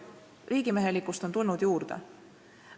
Riigimehelikkust on tulnud juurde.